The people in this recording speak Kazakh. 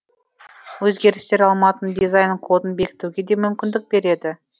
өзгерістер алматының дизайн кодын бекітуге де мүмкіндік береді